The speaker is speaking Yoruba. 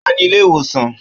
Ó wà ní ilé ìwòsàn